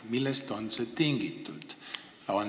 Millest on see tingitud?